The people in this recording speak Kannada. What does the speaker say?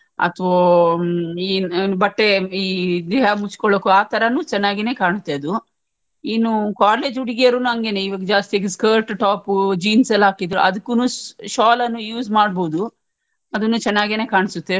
ಅತ್ವೋ ಈ ಏನ್ ಬಟ್ಟೆ ಈ ದೇಹ ಮುಚ್ಕೊಳ್ಳೋಕು ಆತರನು ಚನ್ನಾಗಿನೇ ಕಾಣುತ್ತೆ ಅದು ಇನ್ನು college ಹುಡುಗಿಯರುನು ಹಂಗೆನೇ ಇವಾಗ ಜಾಸ್ತಿಯಾಗಿ skirt top ಪು jeans ಎಲ್ಲ ಹಾಕಿದ್ರು ಅದುಕೂನು sh~ shawl ಅನ್ನು use ಮಾಡ್ಬೋದು ಅದುನು ಚನ್ನಾಗಿನೇ ಕಾಣ್ಸುತ್ತೆ.